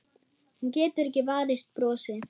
Hún getur ekki varist brosi.